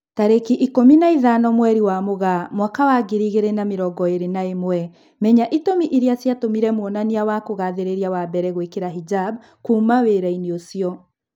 Tarĩki ikũmi na ithano mweri wa Mũgaa mwaka wa ngiri igĩri na mĩrongo ĩri na ĩmwe, Menya itũmi irĩa ciatũmire mwonania wa kugathĩrĩria wa mbere gwĩkira hijab "kuma wĩra-inĩ ucio"